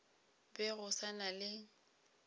be go sa na le